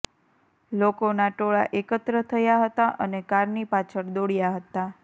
લોકોના ટોળાં એકત્ર થયા હતા અને કારની પાછળ દોડ્યા હતા